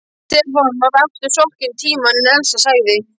Stefán var aftur sokkinn í Tímann en Elsa sagði: